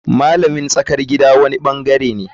Malamin tsakar gida wani bangare ne.